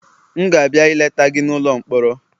M ga-abịa ileta gị n'ụlọ mkpọrọ